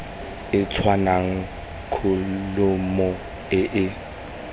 e tshwanang kholomo e e